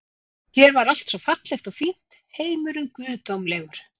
Hér var allt svo fallegt og fínt, heimurinn guðdómlegur.